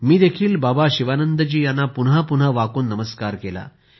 मी देखील बाबा शिवानंद जी यांना पुन्हा पुन्हा वाकून नमस्कार केला